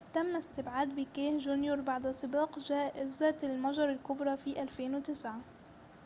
تم استبعاد بيكيه جونيور بعد سباق جائزة المجر الكبرى في 2009